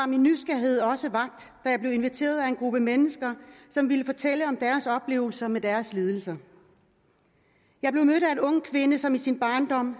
min nysgerrighed også vakt da jeg blev inviteret af en gruppe mennesker som ville fortælle om deres oplevelser med deres lidelser jeg blev mødt af en ung kvinde som i sin barndom